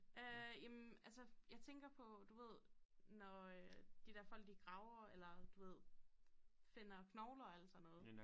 Øh jamen altså jeg tænker på du ved når øh de der folk de graver eller du ved finder knogler og alt sådan noget